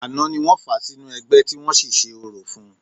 Àná ni wọ́n fà á sínú ẹgbẹ́, tí wọ́n sì ṣe orò fún-un